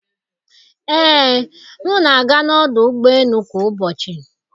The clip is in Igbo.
Ee, m na-aga n'ọdụ ụgbọ elu kwa ụbọchị.